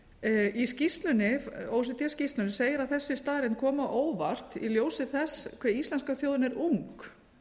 dagana í skýrslunni o e c d skýrslunni segir að þessi staðreynd komi á óvart í ljósi þess hve íslenska þjóðin er ung